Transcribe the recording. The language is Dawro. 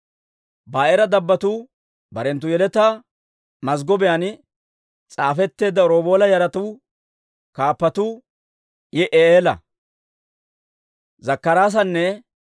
Ba'eera dabbotuu, barenttu yeletaa mazggobiyaan s'aafetteedda Roobeela yaratuu kaappatuu Yi'i'eela, Zakkaraasanne